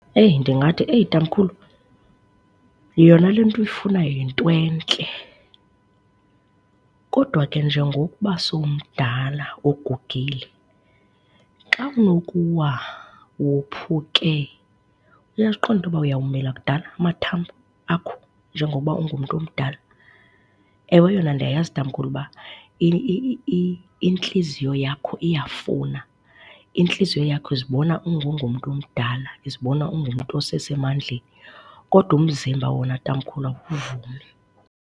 Eyi, ndingathi eyi tamkhulu, yona le nto uyifunayo yinto entle kodwa ke njengokuba sowumdala ugugile, xa unokuwa wophuke uyaziqonda into yoba uyawumila kudala amathambo akho njengoba ungumntu omdala? Ewe yona ndiyayazi, tamkhulu, uba intliziyo yakho iyafuna, intliziyo yakho izibona ungengomntu omdala, izibona ungumntu osesemandleni, kodwa umzimba wona, tamkhulu, awuvumi.